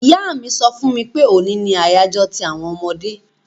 Ìyá mi so fún mi pe òní ni àyájó ti àwon ọmọdé